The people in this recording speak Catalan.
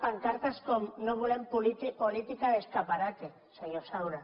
pancartes com no volem política de escaparate senyor saura